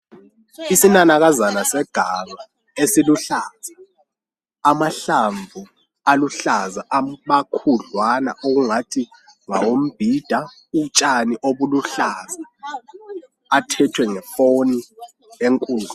Isinanakazana seganga esiluhlaza amahlamvu aluhlaza amakhudlwana okungathi ngawombhida utshani obuluhlaza athethwe ngefoni enkulu